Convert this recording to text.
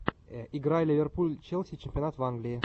игра ливерпуль челси чемпионат англии